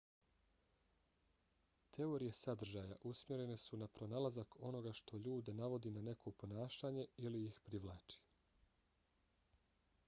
teorije sadržaja usmjerene su na pronalazak onoga što ljude navodi na neko ponašanje ili ih privlači